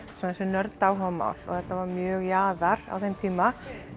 þessi nörda áhugamál og þetta var mjög jaðar á þeim tíma